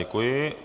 Děkuji.